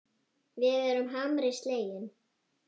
Við erum harmi slegin.